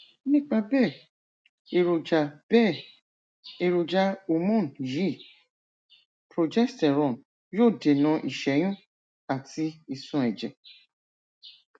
nípa bẹẹ èròjà bẹẹ èròjà hormone yìí progesterone yóò dènà ìṣẹyún àti ìsun ẹjẹ